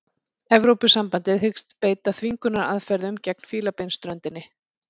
Evrópusambandið hyggst beita þvingunaraðferðum gegn Fílabeinsströndinni